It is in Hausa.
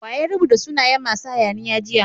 Wa ya rubuta sunayen masu hayaniya jiya?